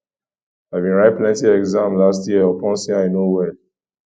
i bin write plenty exam last year upon sey i no well